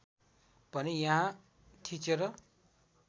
भने यहाँ थिचेर